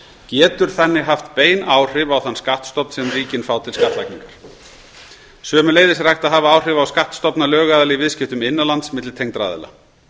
getur þannig haft bein áhrif á þann skattstofn sem ríkin fá til skattlagningar sömuleiðis er hægt að hafa áhrif á skattstofna lögaðila í viðskiptum innan lands milli tengdra aðila